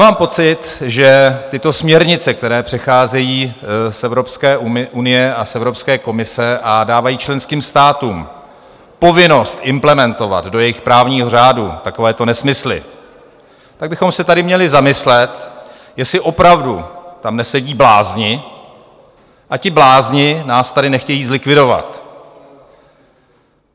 Mám pocit, že tyto směrnice, které přecházejí z Evropské unie a z Evropské komise a dávají členským státům povinnost implementovat do jejich právního řádu takovéto nesmysly, tak bychom se tady měli zamyslet, jestli opravdu tam nesedí blázni a ti blázni nás tady nechtějí zlikvidovat.